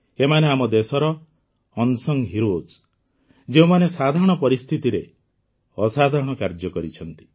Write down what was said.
ଏମାନେ ଆମ ଦେଶର ଅନସଂ ହିରୋଏସ୍ ଯେଉଁମାନେ ସାଧାରଣ ପରିସ୍ଥିତିରେ ଅସାଧାରଣ କାର୍ଯ୍ୟ କରିଛନ୍ତି